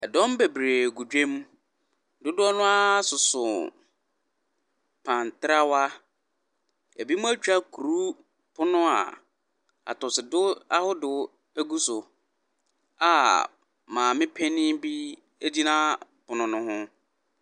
Dɔm bebree gu dwam. Dodoɔ no ara soso wɔn pan trawa. Ebinom atwa akuru pono a atɔsodow ahodow gu so a maame panin bi gyina pono no ho.